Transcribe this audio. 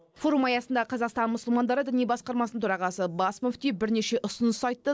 форум аясында қазақсатн мұсылмандары діни басқармасының төрағасы бас мүфти бірнеше ұсыныс айтты